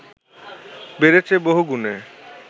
বেড়েছে বহুগুণে